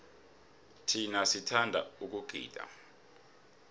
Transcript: thina sithanda ukugida